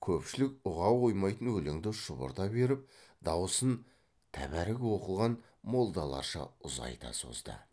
көпшілік ұға қоймайтын өлеңді шұбырта беріп даусын тәбәрік оқыған молдаларша ұзайта созды